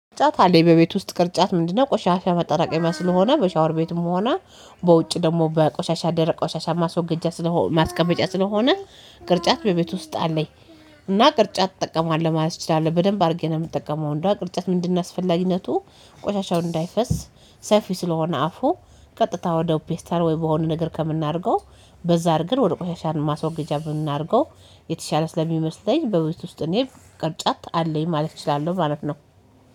ቅርጫት አለኝ በቤት ውስጥ ቅርጫት ምንድነው? ቆሻሻ መጠራቀሚያ ስለሆነ በሻወር ቤትም ሆነ በውጭ ደግሞ በቆሻሻ ደረቅ ቆሻሻ ማስወገጃ ስለሆነ ማስቀመጫ ስለሆነ ቅርጫት በቤቱ ውስጥ አለኝ። እና ቅርጫት እጠቀማለሁ ማለት እችላለሁ በደንብ አድርጌ ነው የምጠቀመው እንደው ቅርጫት ምንድነው? አስፈላጊነቱ ቆሻሻውን እንዳይፈስ ሰፊ ስለሆነ አፉ ቀጥታ ወደ ፔስተር ወይ በሆነ ነገር ከምናደርገው በዛ እርገን ወደ ቆሻሻን ማስወገጃ የምናደርገው የተሻለ ስለሚመስለኝ። በብዛት ውስጥ እኔ ቅርጫት አለኝ ማለት እችላለሁ ማለት ነው።